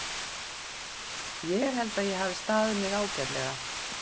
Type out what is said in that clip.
Ég held að ég hafi staðið mig ágætlega.